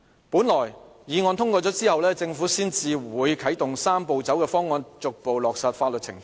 本來議案通過之後，政府才會啟動"三步走"的方案，逐步落實法律程序。